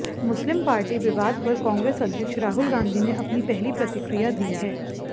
मुस्लिम party विवाद पर कांग्रेस अध्यक्ष राहुल गांधी ने अपनी पहली प्रतिक्रिया दी है